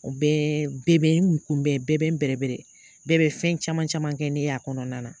O bɛɛ bɛɛ bɛ n kunbɛn, bɛɛ bɛ n bɛrɛbɛrɛ, bɛɛ bɛ fɛn caman caman kɛ ne y'a kɔnɔna na.